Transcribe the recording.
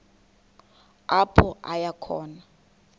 apho aya khona